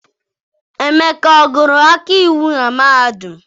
Emeka agụrụ ọkaiwu na mahadum?